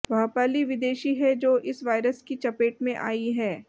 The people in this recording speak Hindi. वह पहली विदेशी है जो इस वायरस की चपेट में आईं है